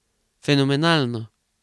Fenomenalno!